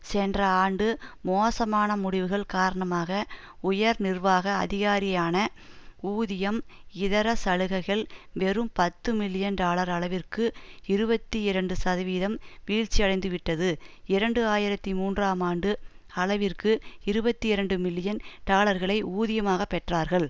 சென்ற ஆண்டு மோசமான முடிவுகள் காரணமாக உயர் நிர்வாக அதிகாரியான ஊதியம் இதர சலுகைகள் வெறும் பத்து மில்லியன் டாலர் அளவிற்கு இருபத்தி இரண்டு சதவீதம் வீழ்ச்சியடைந்துவிட்டது இரண்டு ஆயிரத்தி மூன்றாம் ஆண்டு அளவிற்கு இருபத்தி இரண்டு மில்லியன் டாலர்களை ஊதியமாக பெற்றார்கள்